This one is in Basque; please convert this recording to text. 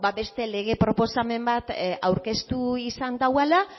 ba beste lege proposamen bat aurkeztu izan duela